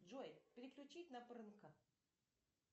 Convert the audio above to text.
джой переключить на прынка